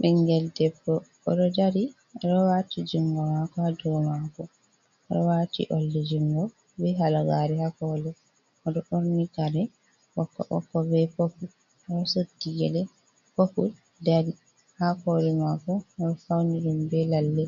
Ɓingel debbo, o ɗo dari. O ɗo waati jungo mako ha dou mako, o ɗo wati oldi jungo be halagari ha koli. O ɗo ɓorni kare ɓokko-ɓokko be popul, o ɗo suddi gele popul dari, ha kole mako, odo fauni ɗum be lalle,